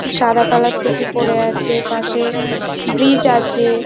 সাদা কালার তুপি পরে আছে পাশে ব্রিজ আছে।